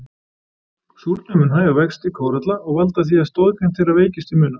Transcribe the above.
Súrnun mun hægja á vexti kóralla og valda því að stoðgrind þeirra veikist til muna.